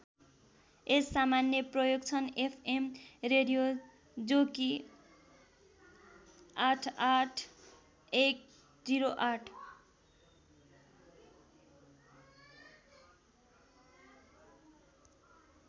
यस सामान्य प्रयोग छन् एफ एम रेडियो जो कि ८८१०८